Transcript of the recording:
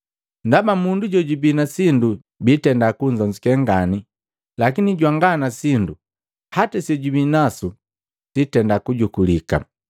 Ndaba mundu jojubii na sindu bitenda kunnzonzuke ngani lakini jwanga na sindu, hata sejubinaku sitenda kujukulika.